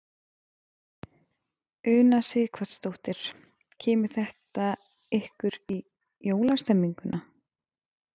Una Sighvatsdóttir: Kemur þetta ykkur í jólastemninguna?